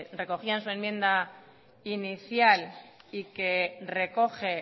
recogía en su enmienda inicial y que recoge